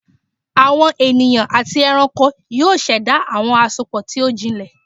Awọn eniyan ati ẹranko yoo ṣẹda awọn asopọ ti o jinlẹ